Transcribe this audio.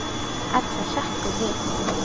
Edda hrekkur við.